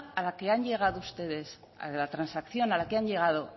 a la que han llegado ustedes a la transacción a la que han llegado